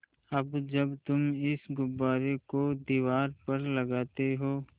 अब जब तुम इस गुब्बारे को दीवार पर लगाते हो